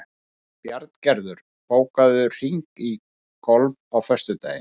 Bjarngerður, bókaðu hring í golf á föstudaginn.